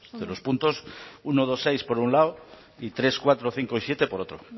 de los puntos uno dos seis por un lado y tres cuatro cinco y siete por otro